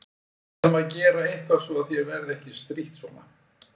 Við verðum að gera eitthvað svo að þér verði ekki strítt svona.